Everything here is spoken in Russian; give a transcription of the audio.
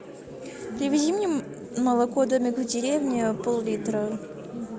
привези мне молоко домик в деревне пол литра